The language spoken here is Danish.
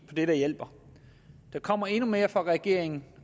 det der hjælper der kommer endnu mere fra regeringen